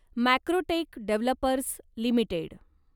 Macrotech Developers limited